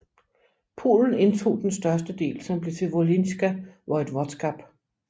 Polen indtog den største del som blev til Volhynske Voivodskab